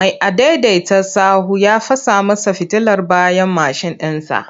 Mai adaidaita sahu ya fasa masa fitilar bayan mashin ɗinsa.